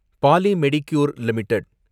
போலி Medicure limited